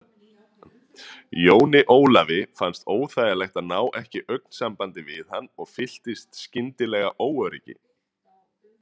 Jóni Ólafi fannst óþægilegt að ná ekki augnsambandi við hann og fylltist skyndilega óöryggi.